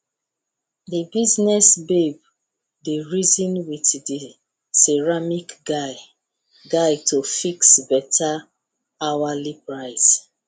the business babe dey reason with the ceramic guy guy to fix better hourly price